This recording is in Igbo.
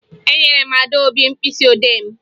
Enyere m Adaobi mkpịsịodee m